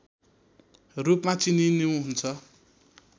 रूपमा चिनिनुहुन्छ